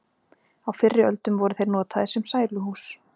Á fyrri öldum voru þeir notaðir sem sæluhús.